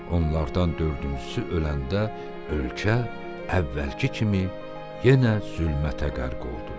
Onlardan dördüncüsü öləndə ölkə əvvəlki kimi yenə zülmətə qərq oldu.